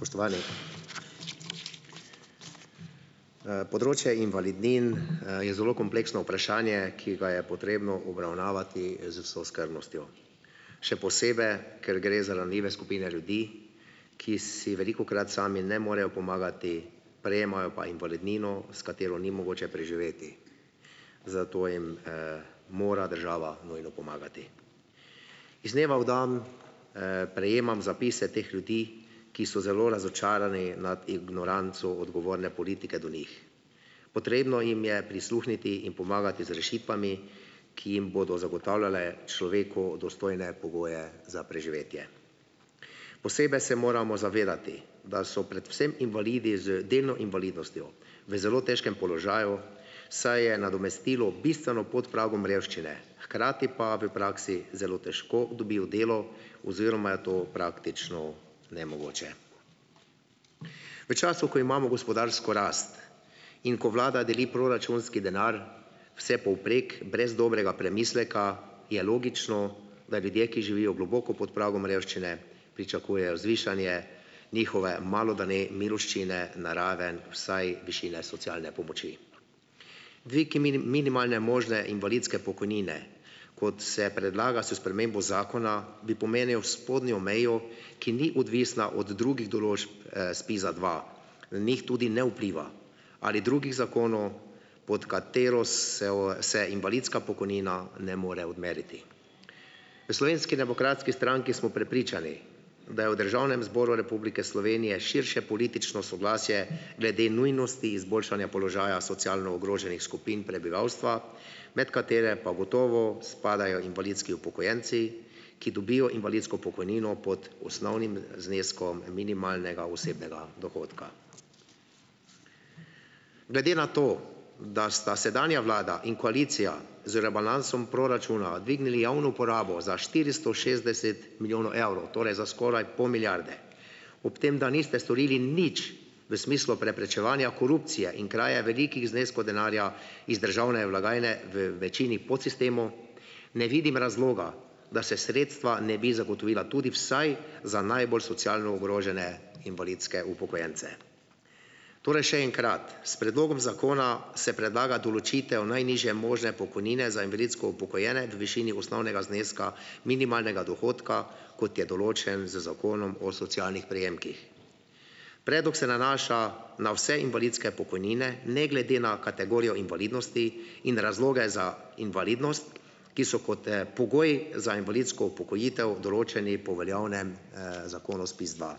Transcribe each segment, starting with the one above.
Spoštovani! Področje invalidnin, je zelo kompleksno vprašanje, ki ga je potrebno obravnavati z vso skrbnostjo, še posebej, ker gre za ranljive skupine ljudi, ki si velikokrat sami ne morejo pomagati prejemajo pa invalidnino, s katero ni mogoče preživeti, zato jim, mora država nujno pomagati. Iz dneva v dan, prejemam zapise teh ljudi, ki so zelo razočarani nad ignoranco odgovorne politike do njih. Potrebno jim je prisluhniti in pomagati z rešitvami, ki jim bodo zagotavljale človeku dostojne pogoje za preživetje. Posebej se moramo zavedati, da so predvsem invalidi z delno invalidnostjo v zelo težkem položaju, saj je nadomestilo bistveno pod pragom revščine hkrati pa v praksi zelo težko dobijo delo oziroma je to praktično nemogoče. V času, ko imamo gospodarsko rast in ko vlada deli proračunski denar vsepovprek brez dobrega premisleka je logično, da ljudje, ki živijo globoko pod pragom revščine pričakujejo zvišanje njihove malo, da ne miloščine na raven vsaj višine socialne pomoči. Dvig minimalne možne invalidske pokojnine, kot se predlaga s spremembo zakona, bi pomenil spodnjo mejo, ki ni odvisna od drugih določb, SPIZ-a dva na njih tudi ne vpliva ali drugih zakonov, pod katero se se invalidska pokojnina ne more odmeriti. V Slovenski demokratski stranki smo prepričani, da je v Državnem zboru Republike Slovenije širše politično soglasje glede nujnosti izboljšanja položaja socialno ogroženih skupin prebivalstva, med katere pa gotovo spadajo invalidski upokojenci, ki dobijo invalidsko pokojnino pod osnovnim zneskom minimalnega osebnega dohodka. Glede na to, da sta sedanja vlada in koalicija z rebalansom proračuna dvignili javno uporabo za štiristo šestdeset milijonov evrov, torej za skoraj pol milijarde ob tem, da niste storili nič v smislu preprečevanja korupcije in kraje velikih zneskov denarja iz državne blagajne v večini podsistemov, ne vidim razloga, da se sredstva ne bi zagotovila tudi vsaj za najbolj socialno ogrožene invalidske upokojence. Torej, še enkrat. S predlogom zakona se predlaga določitev najnižje možne pokojnine za invalidsko upokojene v višini osnovnega zneska minimalnega dohodka, kot je določen z Zakonom o socialnih prejemkih. Predlog se nanaša na vse invalidske pokojnine ne glede na kategorijo invalidnosti in razloge za invalidnost, ki so kot, pogoji za invalidsko upokojitev določeni po veljavnem, zakonu SPIZ dva.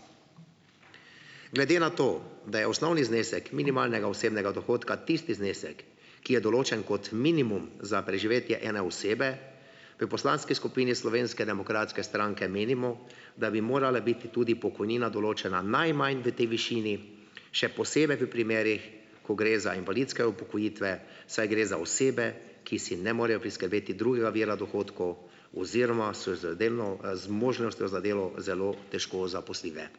Glede na to, da je osnovni znesek minimalnega osebnega dohodka tisti znesek, ki je določen kot minimum za preživetje ene osebe v poslanski skupini Slovenske demokratske stranke menimo, da bi morala biti tudi pokojnina določena najmanj v tej višini še posebej v primerih, ko gre za invalidske upokojitve, saj gre za osebe, ki si ne morejo priskrbeti drugega vira dohodkov oziroma so z delno, zmožnostjo za delo zelo težko zaposljive.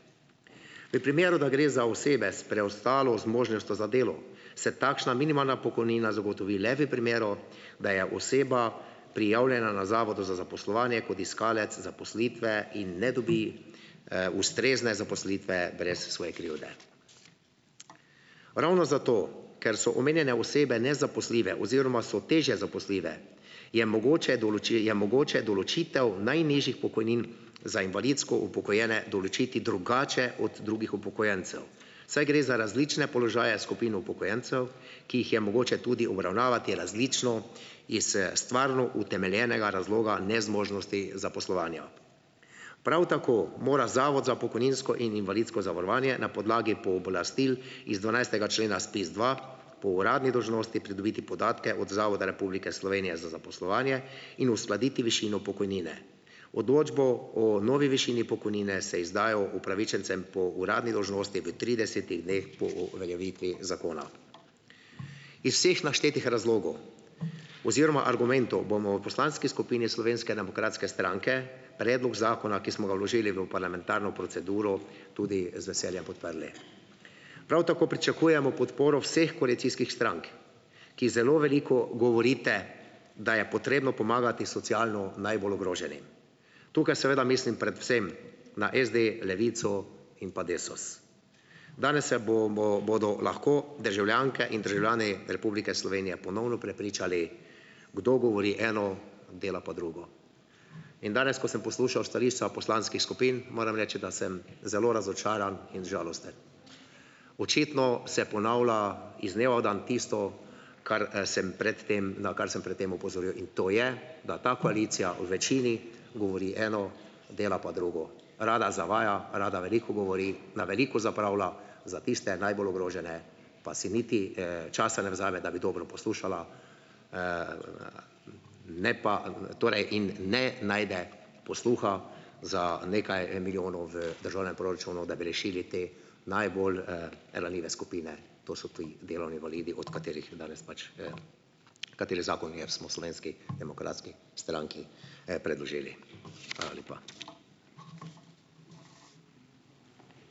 V primeru, da gre za osebe s preostalo zmožnostjo za delo, se takšna minimalna pokojnina zagotovi le v primeru, da je oseba prijavljena na Zavodu za zaposlovanje kot iskalec zaposlitve in ne dobi, ustrezne zaposlitve brez svoje krivde. Ravno zato, ker so omenjene osebe nezaposljive oziroma so težje zaposljive, je mogoče je mogoče določitev najnižjih pokojnin za invalidsko upokojene določiti drugače od drugih upokojencev, saj gre za različne položaje skupin upokojencev, ki jih je mogoče tudi obravnavati različno iz, stvarno utemeljenega razloga nezmožnosti zaposlovanja. Prav tako mora Zavod za pokojninsko in invalidsko zavarovanje na podlagi pooblastil iz dvanajstega člena SPIZ dva po uradni dolžnosti pridobiti podatke od Zavoda Republike Slovenije za zaposlovanje in uskladiti višino pokojnine. Odločbo o novi višini pokojnine se izdajo upravičencem po uradni dolžnosti v tridesetih dneh po uveljavitvi zakona. Iz vseh naštetih razlogov oziroma argumentov bomo v poslanski skupini Slovenske demokratske stranke predlog zakona, ki smo ga vložili v parlamentarno proceduro, tudi z veseljem podprli. Prav tako pričakujemo podporo vseh koalicijskih strank, ki zelo veliko govorite, da je potrebno pomagati socialno najbolj ogroženim. Tukaj seveda mislim predvsem na SD, Levico in pa Desus. Danes se bodo lahko državljanke in državljani Republike Slovenije ponovno prepričali, kdo govori eno, dela pa drugo. In danes, ko sem poslušal stališča poslanskih skupin, moram reči, da sem zelo razočaran in žalosten. Očitno se ponavlja iz dneva v dan tisto, kar, sem pred tem, na kar sem pred tem opozoril, in to je, da ta koalicija v večini govori eno, dela pa drugo, rada zavaja, rada veliko govori, na veliko zapravlja, za tiste najbolj ogrožene pa si niti, časa ne vzame, da bi dobro poslušala, ne pa, torej in ne najde posluha za nekaj milijonov v državnem proračunu, da bi rešili te najbolj, ranljive skupine, to so ti delovni invalidi, od katerih danes pač, katerih zakon je, smo v Slovenski demokratski stranki, predložili. Hvala lepa.